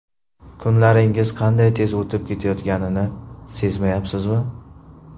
Kunlaringiz qanday tez o‘tib ketayotganini sezmayapsizmi?